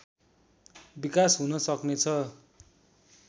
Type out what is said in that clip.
विकास हुन सक्नेछ